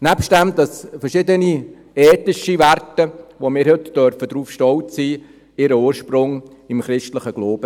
Zudem haben verschiedene ethische Werte, auf die wir heute stolz sein dürfen, ihren Ursprung im christlichen Glauben.